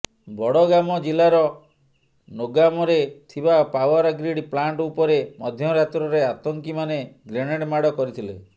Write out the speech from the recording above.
ବଡଗାମ ଜିଲ୍ଲାର ନୋଗାମରେ ଥିବା ପାୱାର ଗ୍ରୀଡ ପ୍ଲାଂଟ ଉପରେ ମଧ୍ୟରାତ୍ରରେ ଆତଙ୍କୀମାନେ ଗ୍ରେନେଡ୍ ମାଡ କରିଥିଲେ